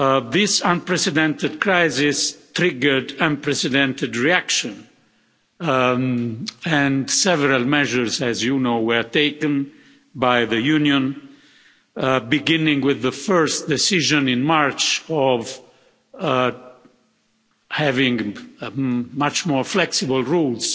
This unprecedented crisis triggered unprecedented reactions and several measures as you know were taken by the Union, beginning with the first decision in March of having much more flexible rules,